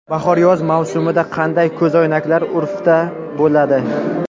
Bahor-yoz mavsumida qanday ko‘zoynaklar urfda bo‘ladi?.